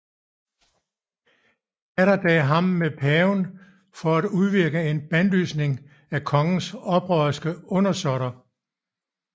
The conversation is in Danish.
Atterdag ham med til paven for at udvirke en bandlysning af kongens oprørske undersåtter